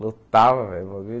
Lutava, velho. O bagulho